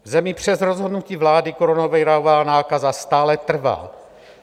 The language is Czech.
V zemi přes rozhodnutí vlády koronavirová nákaza stále trvá.